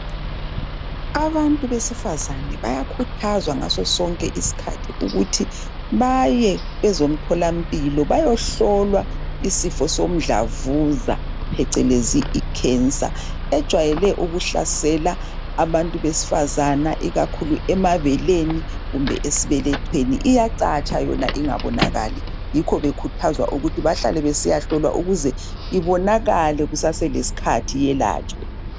Abantu besifazane bayakhuthazwa ngaso sonke isikhathi ukuthi baye kwezomtholampilo, bayehlolwa, isifo somdlamvuza, phecelezi, icancer. Ejwayele ukuhlasela abantu besifazana, ikakhulu emabeleni kumbe esibelethweni. Iyacatsha. yona ingabonakali. Yikho bekhuthazwa ukuthi bahlale besiyahlolwa. Ukuze ibonakale, kusaselesikhathi. Yelatshwe.